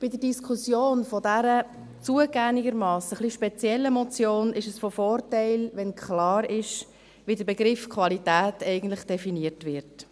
Bei der Diskussion dieser zugegebenermassen etwas speziellen Motion ist es von Vorteil, wenn klar ist, wie der Begriff «Qualität» eigentlich definiert wird.